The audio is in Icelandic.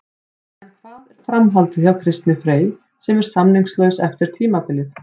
En hvað er framhaldið hjá Kristni Frey sem er samningslaus eftir tímabilið?